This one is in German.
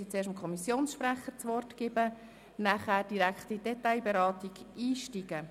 Ich werde zuerst dem Kommissionssprecher das Wort erteilen und danach direkt in die Detailberatung einsteigen.